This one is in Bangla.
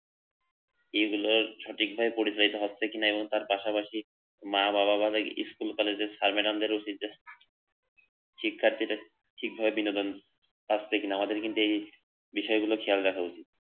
এগুলো সঠিকভাবে পরিচয়টা হচ্ছে কিনা তার পাশাপাশি মা-বাবা দাদা কে স্কুলে যাদের শিক্ষার্থীদের ঠিকভাবে বিনোদন থাকছে কিনা আমাদের কিন্তু এই বিষয়ে কোন খেয়াল রাখা উচিত